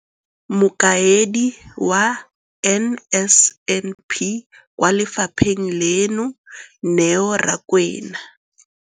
Mokaedi wa NSNP kwa lefapheng leno, Neo Rakwena,